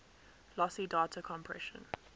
lossy data compression